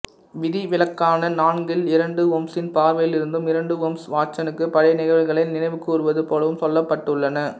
விதிவிலக்கான நான்கில் இரண்டு ஓம்சின் பார்வையிலிருந்தும் இரண்டு ஓம்சு வாட்சனுக்கு பழைய நிகழ்வுகளை நினைவு கூர்வது போலவும் சொல்லப்பட்டுள்ளன